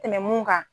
Tɛmɛn ka